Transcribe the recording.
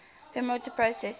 thermodynamic processes